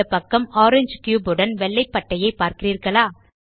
இடப்பக்கம் ஓரங்கே கியூப் உடன் வெள்ளை பட்டையை பார்க்கிறீர்களா